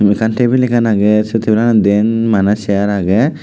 ekkan table ekkan agey sei tabulaanot maneh diyen cheyaar agey.